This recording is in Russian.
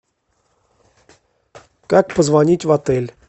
как позвонить в отель